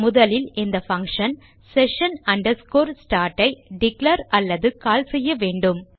முதலில் இந்த function session start ஐ டிக்ளேர் அல்லது கால் செய்ய வேண்டும்